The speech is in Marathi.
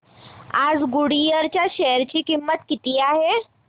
आज गुडइयर च्या शेअर ची किंमत किती आहे